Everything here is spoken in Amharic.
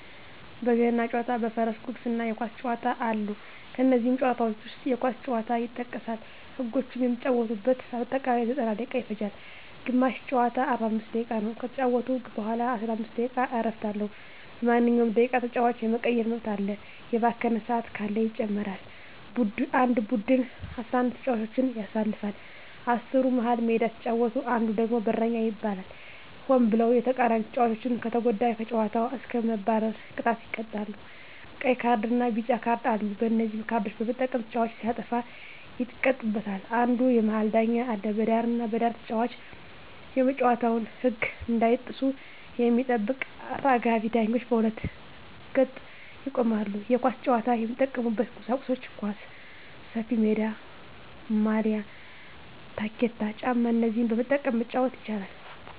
በገና ጨዋታ በፈረስ ጉግስ እና የኳስ ጨዋታ አሉ ከነዚህም ጨዋታዎች ዉስጥ የኳስ ጨዋታ ይጠቀሳል ህጎችም የሚጫወቱበት በአጠቃላይ 90ደቂቃ ይፈጃል ግማሽ ጨዋታ 45 ደቂቃ ነዉ ከተጫወቱ በኋላ የ15 ደቂቃ እረፍት አለዉ በማንኛዉም ደቂቃ ተጫዋች የመቀየር መብት አለ የባከነ ሰአት ካለ ይጨመራል አንድ ቡድን 11ተጫዋቾችን ያሰልፋል አስሩ መሀል ሜዳ ሲጫወት አንዱ ደግሞ በረኛ ይባላል ሆን ብሎ የተቃራኒተጫዋቾችን ከተጎዳ ከጨዋታዉ እስከ መባረር ቅጣት ይቀጣሉ ቀይ ካርድና ቢጫ ካርድ አሉ በነዚህ ካርዶች በመጠቀም ተጫዋቾች ሲያጠፉ ይቀጡበታል አንድ የመሀል ዳኛ አለ በዳርና በዳር ተጫዋቾች የጨዋታዉን ህግ እንዳይጥሱ የሚጠብቁ አራጋቢ ዳኞች በሁለት ገጥ ይቆማሉ የኳስ ጫዋች የሚጠቀሙበት ቁሳቁሶች ኳስ፣ ሰፊሜዳ፣ ማልያ፣ ታኬታ ጫማ እነዚህን በመጠቀም መጫወት ይቻላል